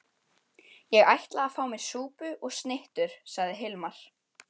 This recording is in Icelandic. Ég ætla að fá mér súpu og snittur, sagði Hilmar.